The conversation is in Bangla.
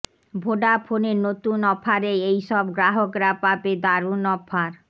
ভোডাফোনের নতুন অফারে এই সব গ্রাহকরা পাবে দারুন অফার